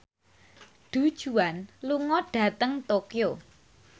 Du Juan lunga dhateng Tokyo